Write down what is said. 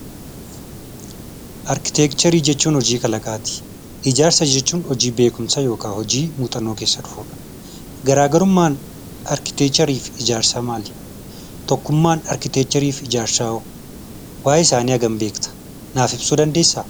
Arkiteekcharii jechuun hojii kalaqaati. Ijaarsa jechuun hojii beekumsa yookiin muuxannoo keessaa dhufudha. Garaagarummaan arkiteekcharii fi ijaarsaa maali? Tokkummaan arkiteekcharii fi ijaarsaa hoo? Waa'ee isaanii hagam beekta? Naaf ibsuu dandeessaa?